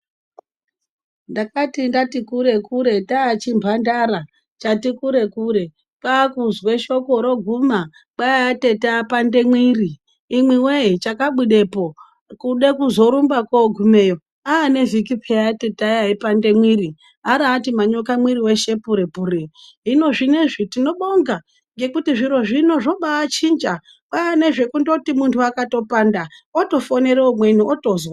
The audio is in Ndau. Ndakati ndati kure kure nda chi mhandara chati kure kure kwakuzwe shoko roguma kwai atete apanda mwiri imwe we chakabudepo kude kuzorumba ko gumeyo ane vhiki peya tete aya ayipanda mwiri ariyati manyoko mwiri weshe pure pure hino zvinezvi tinobonga ngekuti zviro zvino zvobai chinja kwane zvekungoti munhu akapanda oto fonera umweni otozwa.